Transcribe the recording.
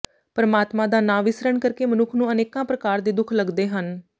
ਪਰਮਾਤਮਾ ਦਾ ਨਾਂ ਵਿਸਰਨ ਕਰਕੇ ਮਨੁੱਖ ਨੂੰ ਅਨੇਕਾਂ ਪ੍ਰਕਾਰ ਦੇ ਦੁੱਖ ਲਗਦੇ ਹਨ